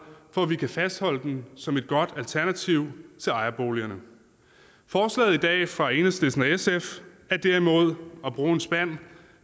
for at vi kan fastholde den som et godt alternativ til ejerboligerne forslaget i dag fra enhedslisten og sf er derimod at bruge en spand